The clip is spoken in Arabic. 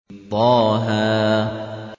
طه